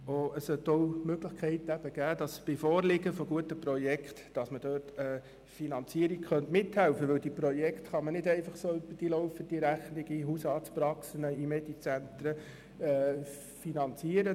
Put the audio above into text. Es sollte auch die Möglichkeit bestehen, beim Vorliegen guter Projekte bei der Finanzierung mitzuhelfen, denn solche Projekte kann man nicht einfach so über die laufende Rechnung in Hausarztpraxen, Medizentren und so weiter finanzieren.